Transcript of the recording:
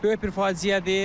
Böyük bir faciədir.